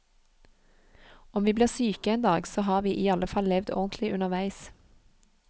Om vi blir syke en dag, så har vi i alle fall levd ordentlig underveis.